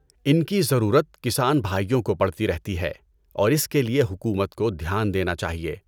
ان کی ضرورت کسان بھائیوں کو پڑتی رہتی ہے اور اس کے لیے حکومت کو دھیان دینا چاہیے۔